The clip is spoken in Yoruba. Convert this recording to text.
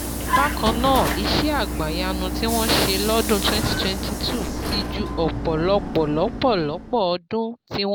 Bákan náà, iṣẹ́ àgbàyanu tí wọ́n ṣe lọ́dún twenty twenty two ti ju ọ̀pọ̀lọpọ̀lọpọ̀lọpọ̀ ọdún tí wọ́n